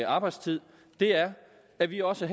arbejdstid er at vi også